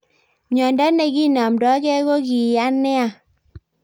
Myondo nekinamdakee kokiyaa nea